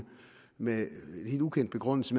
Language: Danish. med en helt ukendt begrundelse